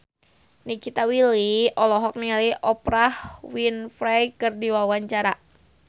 Nikita Willy olohok ningali Oprah Winfrey keur diwawancara